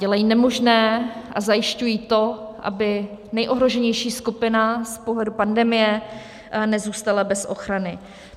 Dělají nemožné a zajišťují to, aby nejohroženější skupina z pohledu pandemie nezůstala bez ochrany.